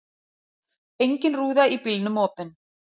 Engin rúða í bílnum opin.